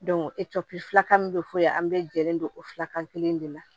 filakan min be f'o ye an be jɛlen don o fila kan kelen de la